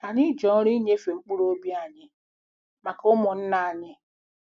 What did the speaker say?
Anyị ji ọrụ inyefe mkpụrụ obi anyị maka ụmụnna anyị.